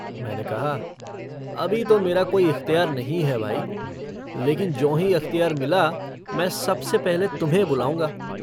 मैंने कहा - अभी तो मेरा कोई अख्तियार नहीं है भाई, लेकिन ज्योंही अख्तियार मिला मैं सबसे पहले तुम्हें बुलाऊँगा।